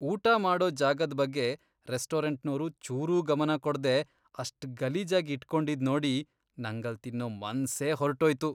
ಊಟ ಮಾಡೋ ಜಾಗದ್ ಬಗ್ಗೆ ರೆಸ್ಟೋರೆಂಟ್ನೋರು ಚೂರೂ ಗಮನ ಕೊಡ್ದೇ ಅಷ್ಟ್ ಗಲೀಜಾಗ್ ಇಟ್ಕೊಂಡಿದ್ದಿದ್ ನೋಡಿ ನಂಗಲ್ಲ್ ತಿನ್ನೋ ಮನ್ಸೇ ಹೊರ್ಟೋಯ್ತು.